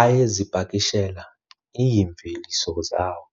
Ayezipakishela iimveliso zawo